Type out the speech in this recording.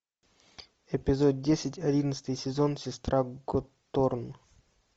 эпизод десять одиннадцатый сезон сестра готорн